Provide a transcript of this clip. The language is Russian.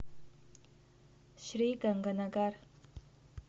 шри ганганагар